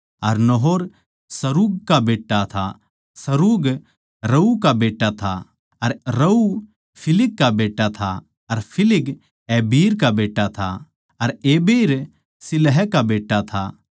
अर Nahor Serug का बेट्टा था अर सरूग रऊ का बेट्टा था अर रऊ फिलिग का बेट्टा था अर फिलिग एबिर का बेट्टा था अर एबिर शिलह का बेट्टा था